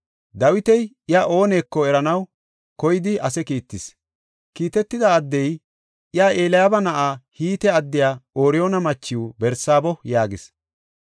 Dawiti iya ooneko eranaw koyidi ase kiittis. Kiitetida addey, “Iya Eliyaaba na7iw, Hite addiya Ooriyoona machiw Barsaabo” yaagis.